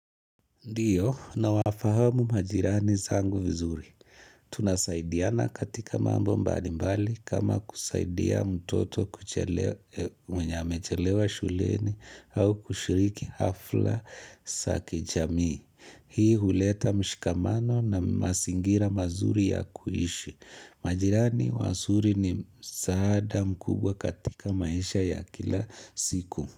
Ndiyo, na wafahamu majirani zangu vizuri. Tunasaidiana katika mambo mbali mbali kama kusaidia mtoto kuchelewa mwenye amechelewa shuleni au kushiriki hafla za kijamii. Hii huleta mshikamano na mazingira mazuri ya kuishi. Majirani wazuri ni msaada mkubwa katika maisha ya kila siku.